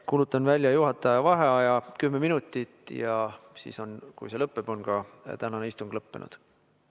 Kuulutan välja juhataja vaheaja kümme minutit ja kui see lõppeb, on ka tänane istung lõppenud.